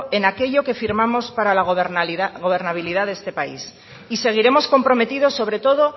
en aquello que firmamos para la gobernabilidad de este país y seguiremos comprometidos sobre todo